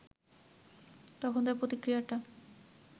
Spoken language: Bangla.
তখন তার প্রতিক্রিয়াটা